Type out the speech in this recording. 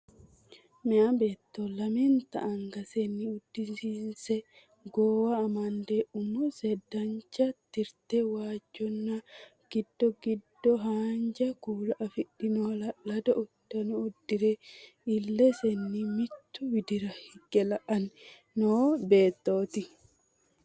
Meeya beetto lamenta angasenni uddanose goowa amadde umise danancho tirte, waajjonna giddo giddo haanja kuula afidhino hala'lado uddano uddi're illesenni mittu widira higge la'anno noo beettooti.